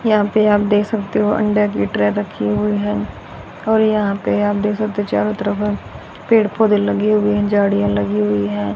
यहां पे आप देख सकते हो अंडा की ट्रे रखी हुई है और यहां पे आप देख सकते हो चारों तरफ पेड़ पौधे लगे हुए हैं झाड़ियां लगी हुई हैं।